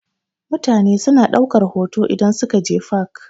Mutane suna ɗaukar hoto idan suka je fak.